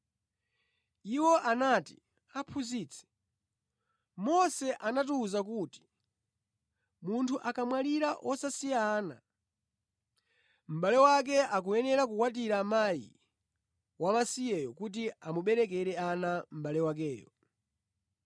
Iwo anati, “Aphunzitsi, Mose anatiwuza kuti munthu akamwalira wosasiya ana, mʼbale wake akuyenera kukwatira mkazi wamasiyeyo kuti amuberekere ana mʼbale wakeyo.